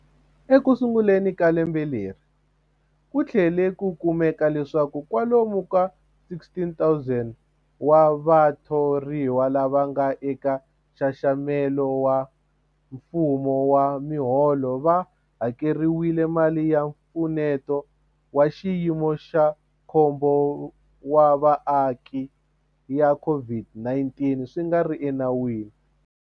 Ekusunguleni ka lembe leri, ku tlhele ku kumeka leswaku kwalomu ka 16,000 wa vatho riwa lava nga eka nxaxamelo wa mfumo wa miholo va hakeriwile mali ya Mpfuneto wa Xiyimo xa Khombo wa Vaaki ya COVID-19 swi nga ri enawini.